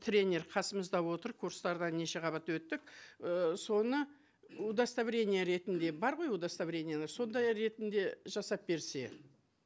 тренер қасымызда отыр курстардан неше қабат өттік ііі соны удостоверение ретінде бар ғой удостоверениелер сондай ретінде жасап берсе